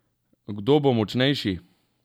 Kdo bo močnejši?